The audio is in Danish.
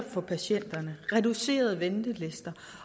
for patienterne reducerede ventelister